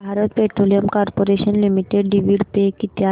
Bharat Petroleum Corporation Limited dividend pay किती आहे